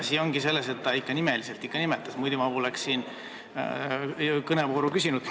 Asi ongi selles, et ta nimetas nimeliselt, muidu ma poleks siin sõnaõigust küsinud.